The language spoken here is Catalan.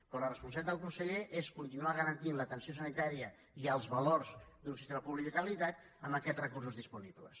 però la responsabilitat del conseller és continuar garantint l’atenció sanitària i els valors d’un sistema públic de qualitat amb aquests recursos disponibles